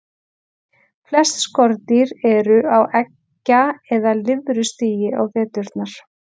Flest skordýr eru á eggja- eða lirfustigi á veturna.